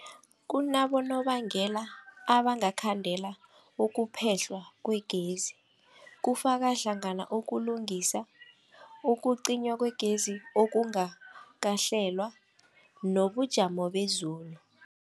Kunabonobangela abangakhandela ukuphehlwa kwegezi, kufaka hlangana ukulungisa, ukucinywa kwegezi okungakahlelwa, nobujamo bezulu.